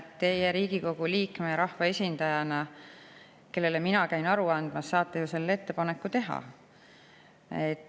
Teie Riigikogu liikme ja rahvaesindajana, kellele mina käin aru andmas, saate ju selle ettepaneku teha.